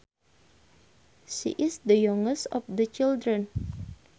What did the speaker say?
She is the youngest of the children